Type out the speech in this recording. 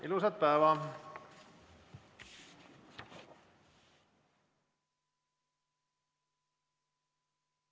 Ilusat päeva!